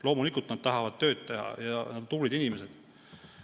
Loomulikult nad tahavad tööd teha ja on tublid inimesed.